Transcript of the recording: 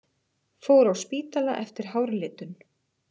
Fór á spítala eftir hárlitun